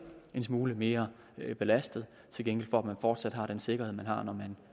en smule mere belastet til gengæld for at man fortsat har den sikkerhed man har når man